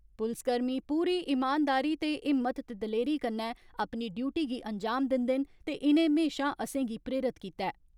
पुलसकर्मी पूरी इमानदारी ते हिम्मत ते दलेरी कन्नै अपनी ड्यूटी गी अंजाम दिन्दे न ते इनें हमेशा असेंगी प्रेरित कीता ऐ।